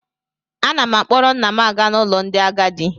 Ana m akpọrọ nna m aga n'ụlọ ndị agadi